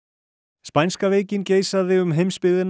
spænska veikin geisaði um heimsbyggðina